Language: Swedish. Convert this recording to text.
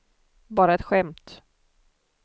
bara ett skämt